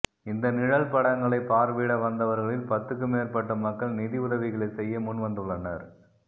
இந்த நிழல் படங்களைப் பார்வையிட வந்தவர்களில் பத்துக்குமேற்பட்ட மக்கள் நிதி உதவிகளைச் செய்ய முன்வந்துள்ளனர்